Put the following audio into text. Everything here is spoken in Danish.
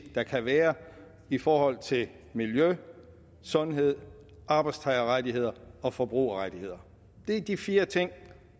der kan være i forhold til miljø sundhed arbejdstagerrettigheder og forbrugerrettigheder det er de fire ting